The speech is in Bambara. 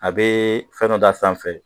A bɛ fɛn dɔ d'a sanfɛ